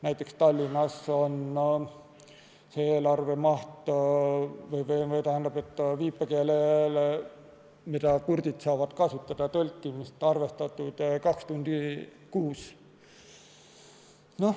Näiteks, Tallinnas on viipekeele eelarves, mida kurdid saavad kasutada, arvestatud mahuks kaks tundi kuus.